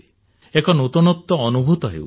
ଏକ ନୂତନତ୍ୱ ଅନୁଭୂତି ହେଉଛି